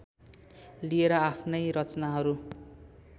लिएर आफ्नै रचनाहरू